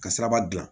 Ka siraba gilan